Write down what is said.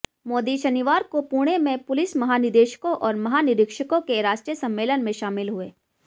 मोदी शनिवार को पुणे में पुलिस महानिदेशकों और महानिरीक्षकों के राष्ट्रीय सम्मेलन में शामिल हुए